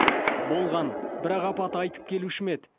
болған бірақ апат айтып келуші ме еді